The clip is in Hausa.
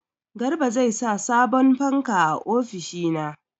Garba zai sa sabon fanka a ofishina.